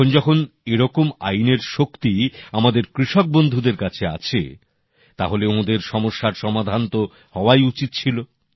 এখন যখন এরকম আইনের শক্তি আমাদের কৃষক বন্ধুদের কাছে আছে তাহলে ওঁদের সমস্যার সমাধান তো হওয়াই উচিৎ ছিল